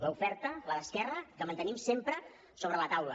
l’oferta la d’esquerra que mantenim sempre sobre la taula